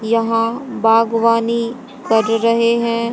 यहां बागवानी कर रहे हैं।